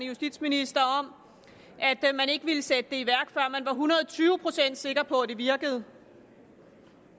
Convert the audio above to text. justitsminister om at man ikke ville sætte det i værk før man var hundrede tyve procent sikker på at det virkede